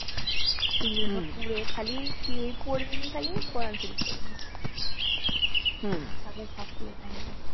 সেইগুলো সব পুড়ে খালি কি পোড়েনি খালি কোরান শরীফ পোড়েনি বাকি গুলো সব পুড়ে ছাই হয়ে গেছে